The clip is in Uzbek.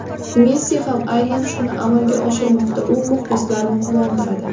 Messi ham aynan shuni amalga oshirmoqda, u muxlislarni quvontiradi.